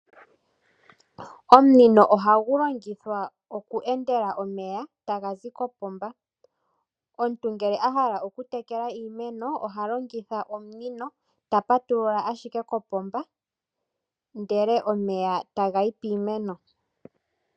Omunino ohagu longithwa oku endela omeya taga zi kopomba, omuntu ngele a hala oku tekela iimeno oha longitha omunino ta patulula owala kopomba ndele omeya taga yi piimeno.